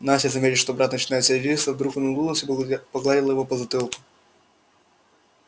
настя заметив что брат начинает сердиться вдруг улыбнулась и погладила его по затылку